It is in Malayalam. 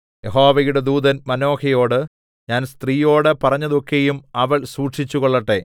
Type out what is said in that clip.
യഹോവയുടെ ദൂതൻ മാനോഹയോട് ഞാൻ സ്ത്രീയോട് പറഞ്ഞതൊക്കെയും അവൾ സൂക്ഷിച്ചുകൊള്ളട്ടെ